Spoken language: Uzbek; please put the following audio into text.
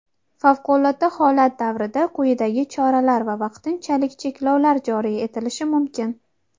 Favqulodda holat davrida quyidagi choralar va vaqtinchalik cheklovlar joriy etilishi mumkin:.